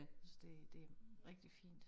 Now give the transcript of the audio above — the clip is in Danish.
Jeg synes det det rigtig fint